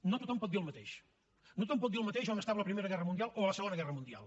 no tothom pot dir el mateix no tothom pot dir el mateix on estava a la primera guerra mundial o a la segona guerra mundial